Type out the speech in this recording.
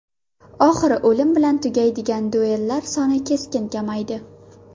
Oxiri o‘lim bilan tugaydigan duellar soni keskin kamaydi.